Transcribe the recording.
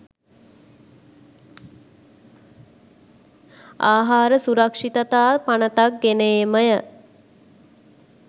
ආහාර සුරක්‍ෂිතතා පනතක් ගෙන ඒමය